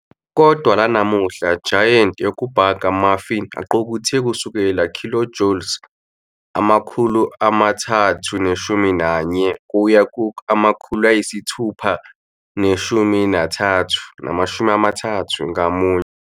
Kodwa lanamuhla giant yokubhaka Muffin aqukethe kusukela kilojoule 340 kuya 630 ngamunye.